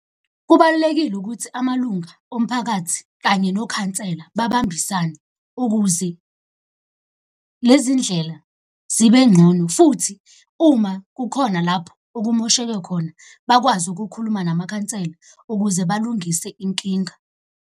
Kubalulekile ukuthi amalunga omphakathi kanye nokhansela babambisane, ukuze lezi ndlela zibe ngcono futhi uma kukhona lapho okumosheke khona bakwazi ukukhuluma namakhansela ukuze balungise inkinga.